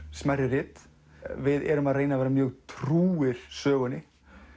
smærri rit við erum að reyna að vera mjög trúir sögunni